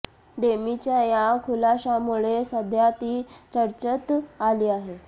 डेमीच्या या खुलाशामुळे सध्या ती चर्चेत आली आहे